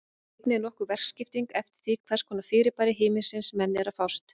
Einnig er nokkur verkaskipting eftir því við hvers konar fyrirbæri himinsins menn eru að fást.